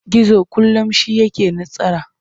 Gizo kullum shi yake nasara.